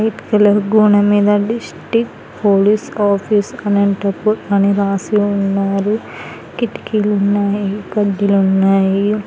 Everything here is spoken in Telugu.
వైట్ కలర్ గోడ మీద డిస్టీక్ట్ పోలీస్ ఆఫీస్ అనంతపుర్ అని రాసి ఉన్నారు కిటికీలు ఉన్నాయి కడ్డిలున్నాయి.